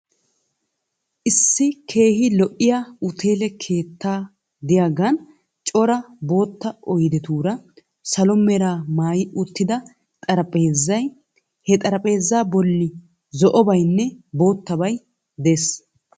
Issi keehi lo'iya uteele keetta diyagan cora bootta oyidetuura, salo mera maayi uttida xarapheezay, he xarapheezaa bolli zo'obaynne boottabay des.